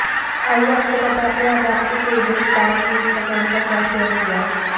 आइए आपको बताते हैं आज आपके फेवरेट सेलेब्स ने इंस्टाग्राम पर क्या शेयर किया